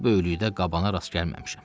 Bu böyüklükdə qabana rast gəlməmişəm.